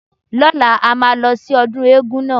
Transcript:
Lọ́la, a máa lọ sí ọdún éégún náà.